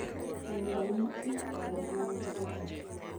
Kuom ranyisi, e ot ma nigi joot, .